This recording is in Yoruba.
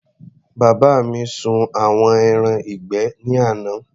Bàbá mi sun àwọn ẹran ìgbẹ́ ní àná.